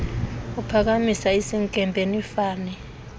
uphakamisa isinkempe nifane